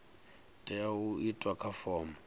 tea u itwa kha fomo